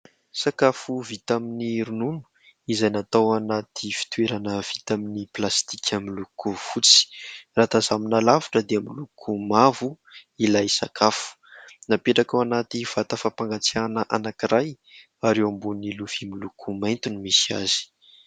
Sakafo vita amin'ny ronono izay natao anaty fitoerana vita amin'ny plastika miloko fotsy. Raha tazanina lavitra dia miloko mavo ilay sakafo. Napetraka ao anaty vata fampangatsiahana anankiray ary eo ambony lovia miloko mainty no misy azy.